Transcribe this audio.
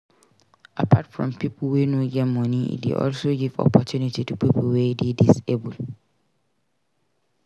Apart from pipo wey no get moni e de also give opportunity to pipo wey de disabled